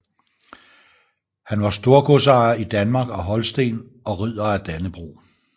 Han var storgodsejer i Danmark og Holsten og Ridder af Dannebrog